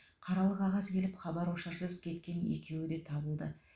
қаралы қағаз келіп хабар ошарсыз кеткен екеуі де табылды